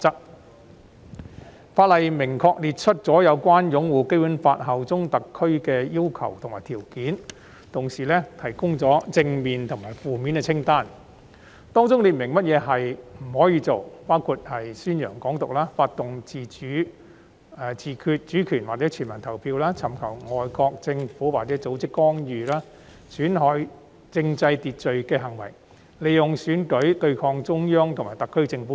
《條例草案》除了明確列出有關擁護《基本法》、效忠特區的要求和條件外，亦提供了正面及負面清單，列明不可作出的行為，包括宣揚"港獨"、推動"自決主權"或"全民公投"、尋求外國政府或組織干預、損害政制秩序的行為和利用選舉對抗中央及特區政府等。